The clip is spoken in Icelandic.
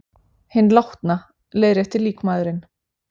Hinn látna. leiðréttir líkmaðurinn.